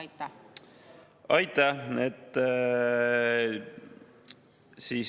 Aitäh!